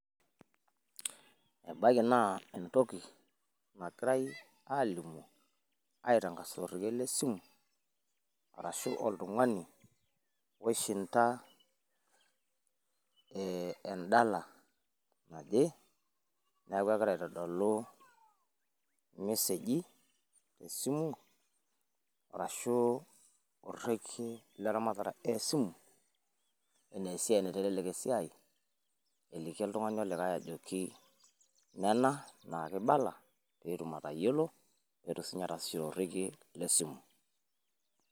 E`baiki naa entoki nagirai aalimu aitangasa to rekie le simu. Arashu oltung`ani loishinda en`dala naje niaku egirai aitodolu il message i te simu. Arashu orekie le laramata le simu egira enaa esiai naitelelek esiai, egira eliki oltung`ani olikae ajoki nena naa keibala pee etum atayolo, pee etum sii ninye ataasishore orrekie le simu.